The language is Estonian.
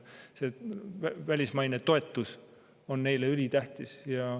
Välismaine toetus on neile ülitähtis.